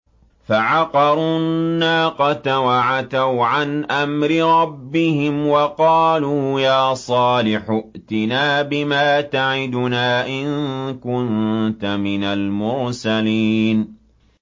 فَعَقَرُوا النَّاقَةَ وَعَتَوْا عَنْ أَمْرِ رَبِّهِمْ وَقَالُوا يَا صَالِحُ ائْتِنَا بِمَا تَعِدُنَا إِن كُنتَ مِنَ الْمُرْسَلِينَ